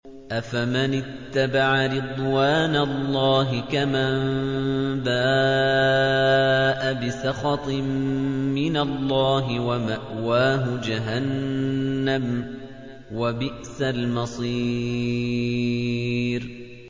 أَفَمَنِ اتَّبَعَ رِضْوَانَ اللَّهِ كَمَن بَاءَ بِسَخَطٍ مِّنَ اللَّهِ وَمَأْوَاهُ جَهَنَّمُ ۚ وَبِئْسَ الْمَصِيرُ